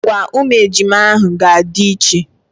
Agwa ụmụ ejima ahụ ga-adị iche.